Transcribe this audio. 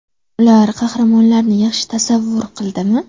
Ular qahramonlarni yaxshi tasavvur qildimi?